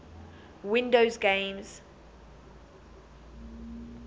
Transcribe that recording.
windows games